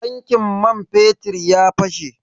Tankin man fetir ya fashe.